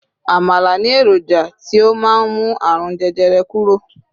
àmàlà ni eroja ti o ma n mu àrùn jẹjẹrẹ kúrò